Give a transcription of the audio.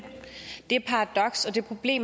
e